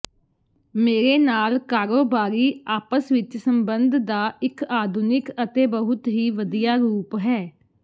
ਮੇਰੇ ਨਾਲ ਕਾਰੋਬਾਰੀ ਆਪਸ ਵਿੱਚ ਸੰਬੰਧ ਦਾ ਇੱਕ ਆਧੁਨਿਕ ਅਤੇ ਬਹੁਤ ਹੀ ਵਧੀਆ ਰੂਪ ਹੈ